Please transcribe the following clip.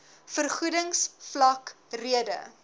vergoedings vlak rede